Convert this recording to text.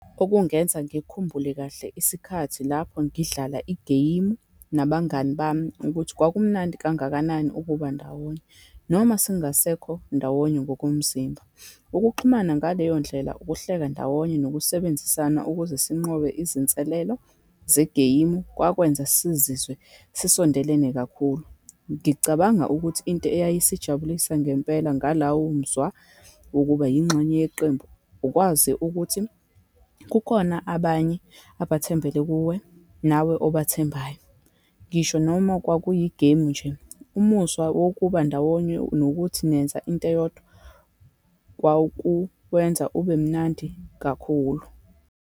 Okungenza ngikhumbule kahle isikhathi lapho ngidlala igeyimu nabangani bami, ukuthi kwakumnandi kangakanani ukuba ndawonye, noma singasekho ndawonye ngokomzimba. Ukuxhumana ngaleyo ndlela, ukuhleka ndawonye, nokusebenzisana ukuze sinqobe izinselelo zegeyimu, kwakwenza sizizwe sisondelene kakhulu. Ngicabanga ukuthi into eyayisijabulisa ngempela ngalawomuzwa wokuba yingxenye yeqembu, ukwazi ukuthi kukhona abanye abathembele kuwe, nawe obathembayo. Ngisho noma kwakuyigemu nje, umuzwa wokubandawonye nokuthi nenza into eyodwa, kwakuwenza ube mnandi kakhulu.